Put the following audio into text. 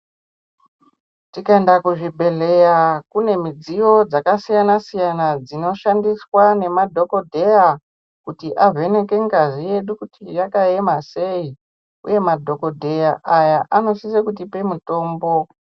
Tikanda kuzvibhedhleya, kunemidziyo dzakasiyana siyana , dzinoshandiswa ngemadhokodheya kuti avheneke ngazi yedu kuti yakayema sei. Uye madhokodheya aya anosise kutipe mitombo.